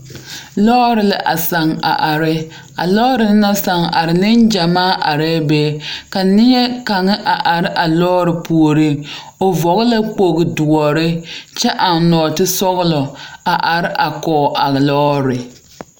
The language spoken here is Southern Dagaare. Pɔɔ kaŋ la zeŋ ka kaŋa meŋ a de pinbiri a kyɔgroo o kpaŋkpane kyɛ ka ba zaa kaara zie kaŋ.